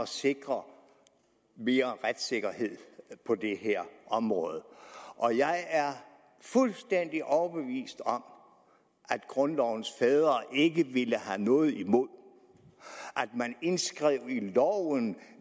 sikre mere retssikkerhed på det her område og jeg er fuldstændig overbevist om at grundlovens fædre ikke ville have noget imod at man indskrev i loven